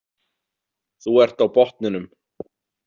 Þú ert á botninum.